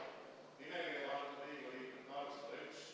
Nimekirja kantud liikmete arv: 101.